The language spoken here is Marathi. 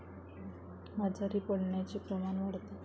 आजारी पडण्याचे प्रमाण वाढते.